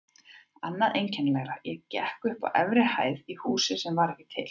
Annað einkennilegra: ég gekk upp á efri hæð í húsi sem var ekki til.